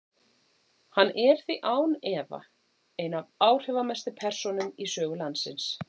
Hann er því án efa ein af áhrifamestu persónum í sögu landsins.